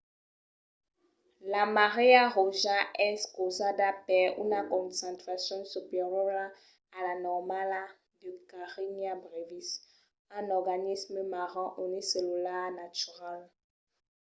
la marèa roja es causada per una concentracion superiora a la normala de karenia brevis un organisme marin unicellular natural